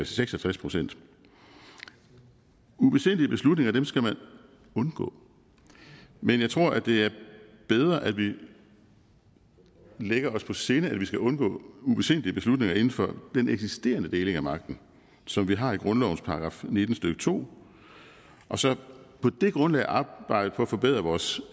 seks og tres procent ubesindige beslutninger skal man undgå men jeg tror det er bedre at vi lægger os på sinde at vi skal undgå ubesindige beslutninger inden for den eksisterende deling af magten som vi har i grundlovens § nitten stykke to og så på det grundlag arbejde på at forbedre vores